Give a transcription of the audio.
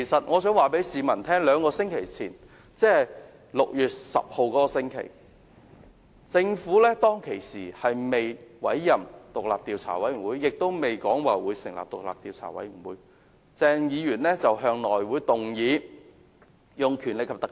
我想告訴市民，在兩星期前，即6月10日的那個星期，鄭議員在政府尚未委任法官帶領獨立調查委員會和並未表示會成立獨立調查委員會時，向內務委員會提出引用《條例》。